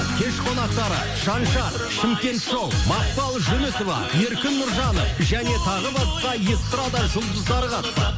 кеш қонақтары шаншар шымкент шоу макпал жүнісова еркін нұржанов және тағы басқа эстрада жұлдыздары қатысады